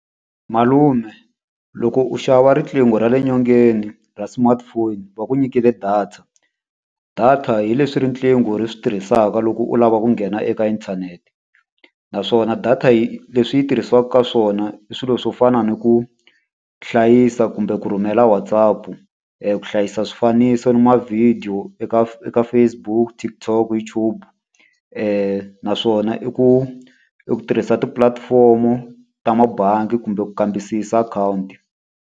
Malume loko u xava riqingho ra le nyongeni ra smartphone va ku nyikile data. Data hi leswi riqingho ri swi tirhisaka loko u lava ku nghena eka inthanete. Naswona data yi leswi tirhisiwaka ka swona i swilo swo fana ni ku hlayisa kumbe ku rhumela WhatsApp-u, ku hlayisa swifaniso ni ma-video eka eka Facebook, TikTok, YouTube. Naswona i ku i ku tirhisa tipulatifomo ta mabangi kumbe ku kambisisa akhawunti.